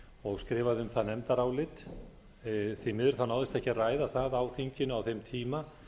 og skrifað um það nefndarálit því miður náðist ekki að ræða það á þinginu á þeim tíma